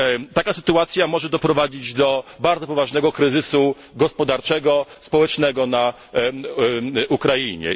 Taka sytuacja może doprowadzić do bardzo poważnego kryzysu gospodarczego, społecznego na Ukrainie.